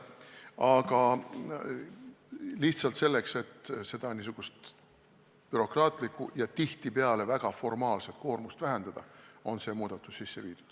Aga lihtsalt selleks, et bürokraatlikku ja tihtipeale väga formaalset koormust vähendada, on see muudatus tehtud.